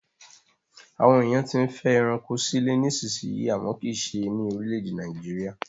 Àwọn èèyàn tí ń fẹ́ ẹranko sílé ní ìsisìyí àmọ́ kìí se ní orílẹ̀-èdè Nàìjíríà